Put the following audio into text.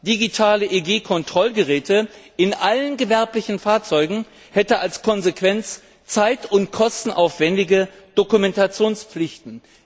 Digitale EU Kontrollgeräte in allen gewerblichen Fahrzeugen hätten als Konsequenz zeit und kostenaufwendige Dokumentationspflichten.